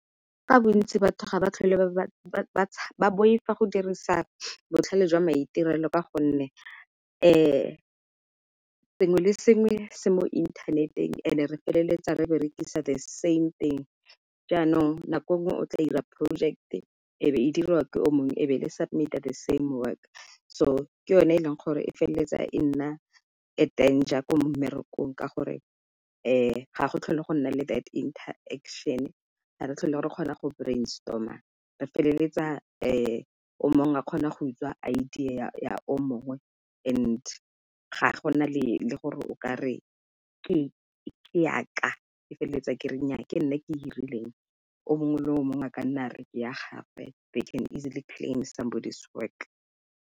Ka bontsi batho ga ba tlhole ba boifa go dirisa botlhale jwa maitirelo ka gonne sengwe le sengwe se mo inthaneteng and-e re feleletsa re berekisa the same thing. Jaanong nako nngwe o tla ira project-e e be e dirwa ke o mongwe ebe le submit-a the same work, so ke yone e leng gore e feleletsa e nna a danger ko mmerekong. Ka gore ga go tlhole go nna le that interaction ga re tlhole re kgona go brainstormer re feleletsa o mongwe a kgona go utswa idea ya o mongwe, and ga go nna le le gore o ka re ke yaka ke feleletsa ke nnyaa ke nna ke e rileng o mongwe le o mongwe a ka nna re ke ya gagwe they can easily claim somebody's work.